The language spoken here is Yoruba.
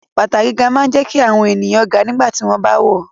High heels make people taller when they wear them